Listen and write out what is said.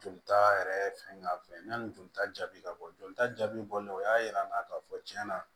Joli ta yɛrɛ fɛn ka fɛ yanni jolita jaabi ka bɔ jolita jaabi bɔlen o y'a yira n na k'a fɔ tiɲɛ na